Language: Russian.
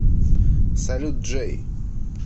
салют джей